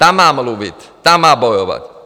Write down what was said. Tam má mluvit, tam má bojovat.